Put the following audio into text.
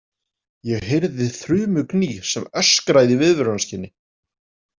Ég heyrði þrumugný, sem öskraði í viðvörunarskyni.